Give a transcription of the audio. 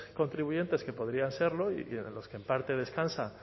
contribuyentes que podrían serlo y en los que en parte descansa